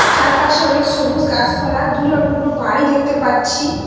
চারপাশে অনেক সবুজ গাসপালা দূরে অনেকগুলো বাড়ি দেখতে পাচ্ছি।